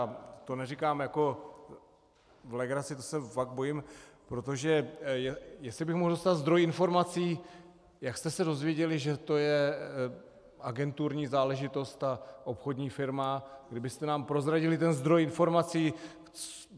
A to neříkám jako v legraci, to se fakt bojím, protože - jestli bych mohl dostat zdroj informací, jak jste se dozvěděli, že to je agenturní záležitost ta obchodní firma, kdybyste nám prozradili ten zdroj informací.